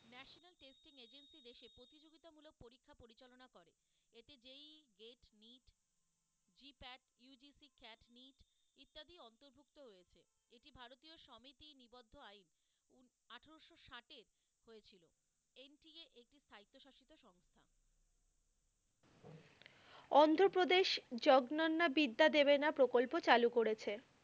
অন্ধপ্রদেশ, জগ্ননা বিদ্যা দেবেনা প্রকল্প চালু করেছে।